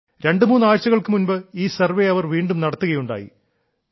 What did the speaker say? രണ്ടുമൂന്ന് ആഴ്ചകൾക്കു മുൻപ് ഈ സർവ്വേ അവർ വീണ്ടും നടത്തുകയുണ്ടായി